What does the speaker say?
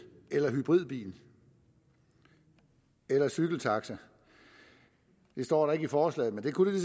eller hybridbiler eller cykeltaxaer det står der ikke i forslaget men det kunne der